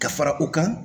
Ka fara u kan